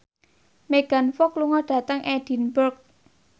Megan Fox lunga dhateng Edinburgh